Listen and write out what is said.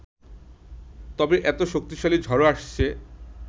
তবে এত শক্তিশালী ঝড় আসছে